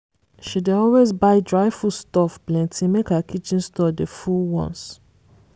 she dey always buy dry foodstuff plenty make her kitchen store dey full once.